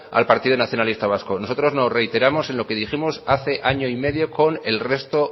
al partido nacionalista vasco nosotros nos reiteramos en lo que dijimos hace año y medio con el resto